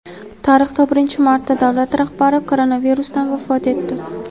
Tarixda birinchi marta davlat rahbari koronavirusdan vafot etdi.